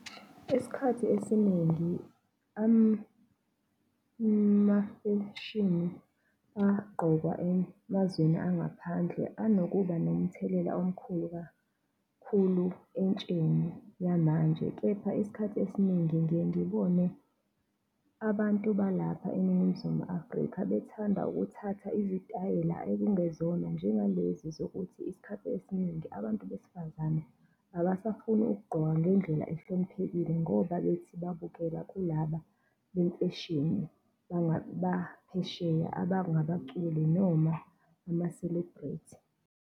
Isikhathi esiningi amafeshini agqokwa emazweni angaphandle anokuba nomthelela omkhulu kakhulu entsheni yamanje. Kepha isikhathi esiningi ngiye ngibone abantu balapha eNingizimu Afrika bethanda ukuthatha izitayela ekungezona njengalezi zokuthi isikhathi esiningi abantu besifazane abasafuni ukugqoka ngendlela ahloniphekile ngoba bethi babukela kulaba bemfeshini baphesheya abangabaculi noma ama-celebrity.